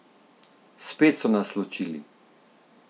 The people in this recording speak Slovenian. Spet so nas ločili.